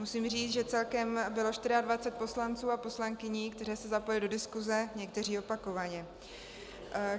Musím říct, že celkem bylo 24 poslanců a poslankyň, kteří se zapojili do diskuse, někteří opakovaně.